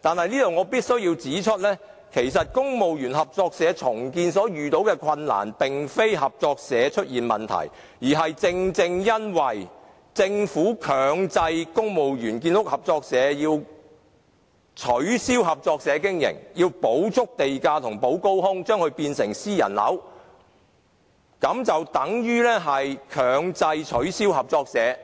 但我必須指出，其實公務員合作社重建所遇到的困難，並非合作社出現問題，而是因為政府強制公務員建屋合作社須取消合作社經營模式，要補足地價和"補高空"，將它變成私人樓，等於強制取消合作社，